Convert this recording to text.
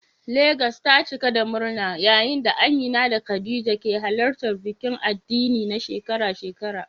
Legas ta cika da murna yayin da Amina da Khadija ke halartar bikin addini na shekara-shekara.